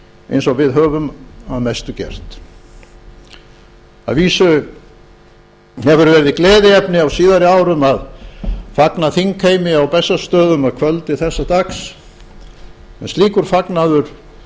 eins og við höfum að mestu gert að vísu hefur verið gleðiefni á síðari árum að fagna þingheimi á bessastöðum að kvöldi þessa dags en slíkur fagnaður